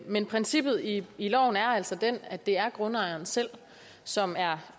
men princippet i loven er altså den at det er grundejeren selv som er